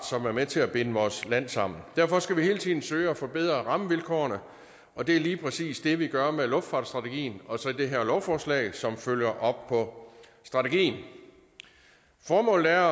som er med til at binde vores land sammen derfor skal vi hele tiden søge at forbedre rammevilkårene og det er lige præcis det vi gør med luftfartsstrategien og så det her lovforslag som følger op på strategien formålet er